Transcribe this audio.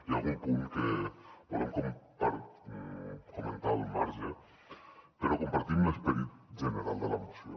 hi ha algun punt que volem comentar al marge però compartim l’esperit general de la moció